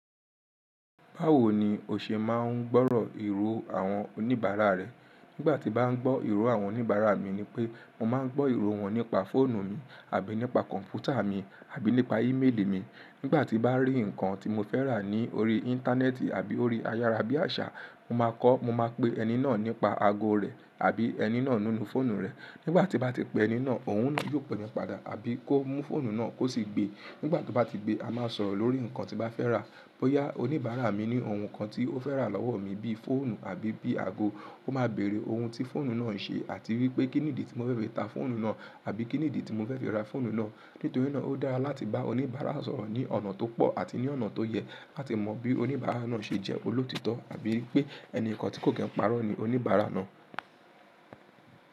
Báwo ni o ṣe máa ń gbọ́rọ̀ èrò àwọn oníbàárà rẹ? Nígbà tí bá ń gbọ́ èrò àwọn oníbàárà mi ni pé mo máa ń gbọ́ èrò wọn nípa fóònù mi àbí nípa kọ̀m̀pútà mi àbí nípa ímeèlì mi. Nígbà tí bá rí nǹkan tí mo fẹ́ rà ní orí Íńtánẹ́ẹ̀tì àbí orí ayára bí àṣà, mo máa kọ́, mo máa pe ẹni náà nípa ago rẹ̀ àbí ẹni náà nínú fóònù rẹ̀. Nígbà tí bá ti pe ẹni náà, òun náà yóò pè mi padà àbí kó mú fóònù náà kó sì gbe. Nígbà tó bá ti gbe, a máa sọ̀rọ̀ lórí nǹkan tí bá fẹ́ rà. Bóyá oníbàárà mi ní ohun kan tí ó fẹ́ rà lọ́wọ́ mi bí fóònù àbí bí ago, ó máa bèèrè ohun tí fóònù náà ń ṣe àti wípé kínnídí tí mo fẹ́ fi ta fóònù náà àbí kínnídí tí mo fẹ́ fi ra fóònù náà. Nítorí náà ó dára láti bá oníbàárà sọ̀rọ̀ ní ọ̀nà tó pọ̀ àti ní ọ̀nà tó yẹ láti mọ bí oníbàárà náà ṣe jẹ́ olótítọ́ àbí wípé ẹniìkan tí kò ki n parọ́ ni oníbàárà náà.